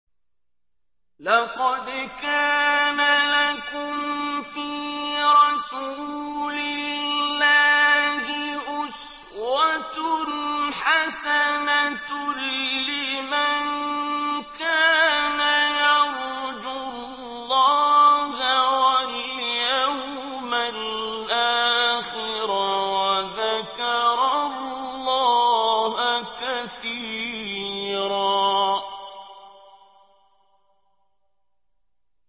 لَّقَدْ كَانَ لَكُمْ فِي رَسُولِ اللَّهِ أُسْوَةٌ حَسَنَةٌ لِّمَن كَانَ يَرْجُو اللَّهَ وَالْيَوْمَ الْآخِرَ وَذَكَرَ اللَّهَ كَثِيرًا